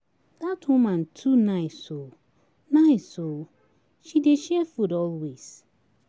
Dat woman too nice oo nice oo, she dey share food always.